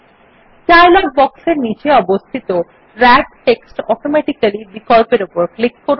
dialogue বক্সের নীচে অবস্থিত র্যাপ টেস্ট অটোমেটিক্যালি বিকল্পর উপর ক্লিক করুন